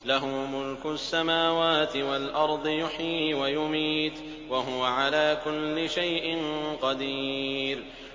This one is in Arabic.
لَهُ مُلْكُ السَّمَاوَاتِ وَالْأَرْضِ ۖ يُحْيِي وَيُمِيتُ ۖ وَهُوَ عَلَىٰ كُلِّ شَيْءٍ قَدِيرٌ